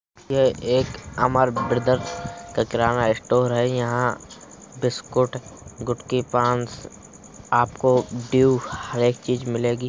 '' यह एक अमर ब्रदर्श का किराना स्टोर है यहाँ बिस्कुट गुटकी पान आपको ड्यू हर एक चीज मिलेगी ।''